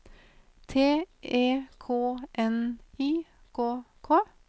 T E K N I K K